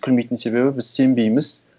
күлмейтін себебі біз сенбейміз